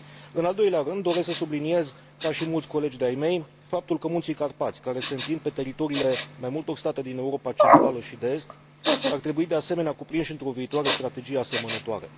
În al doilea rând, doresc să subliniez, ca și mulți colegi de ai mei, faptul că Munții Carpați, care se întind pe teritoriile mai multor state din Europa Centrală și de Est, ar trebui, de asemenea, cuprinși într o viitoare strategie asemănătoare.